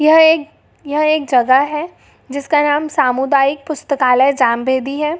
यह एक यह एक जगह हैजिसका नाम सामुदायिक पुस्तकालय जामवेदी है।